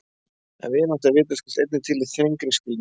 En vinátta er vitaskuld einnig til í þrengri skilningi.